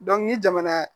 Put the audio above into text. ni jamana